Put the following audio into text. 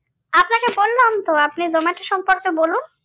আপনাকে বললাম তো আপনি জোমাটো সম্পর্কে বলুন।